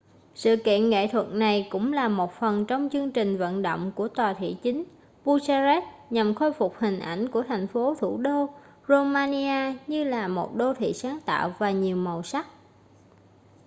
sự kiện nghệ thuật này cũng là một phần trong chương trình vận động của tòa thị chính bucharest nhằm khôi phục hình ảnh của thành phố thủ đô romania như là một đô thị sáng tạo và nhiều màu sắc